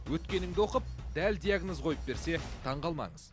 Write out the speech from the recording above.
өткеніңді оқып дәл диагноз қойып берсе таңғалмаңыз